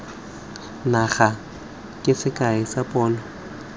naga ke sekai sa pono